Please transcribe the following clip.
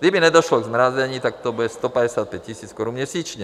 Kdyby nedošlo k zmrazení, tak to bude 155 000 korun měsíčně.